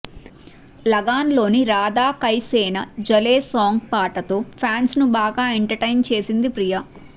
లగాన్ లోని రాధాకైసేన జలే సాంగ్ పాటతో ఫ్యాన్స్ ను బాగా ఎంట్ టైన్ చేసింది ప్రియా